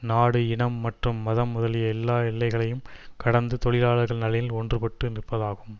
நாடு இனம் மற்றும் மதம் முதலிய எல்லா எல்லைகளையும் கடந்து தொழிலாளர் நலனில் ஒன்றுபட்டு நிற்பதாகும்